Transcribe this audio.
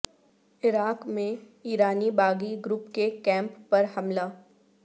عراق میں ایرانی باغی گروپ کے کیمپ پر حملہ